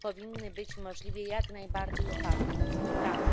powinny być możliwie jak najbardziej oparte na współpracy.